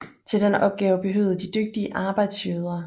Til den opgave behøvede de dygtige arbejdsjøder